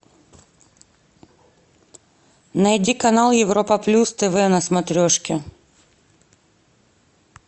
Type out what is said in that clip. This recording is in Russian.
найди канал европа плюс тв на смотрешке